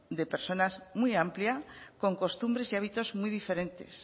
de personas muy amplia con costumbres y hábitos muy diferentes